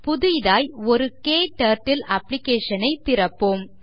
புதிதாய் ஒரு க்டர்ட்டில் Application ஐ திறப்போம்